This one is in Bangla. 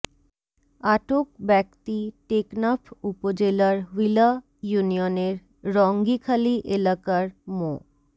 আটক ব্যক্তি টেকনাফ উপজেলার হ্নীলা ইউনিয়নের রঙ্গিখালী এলাকার মো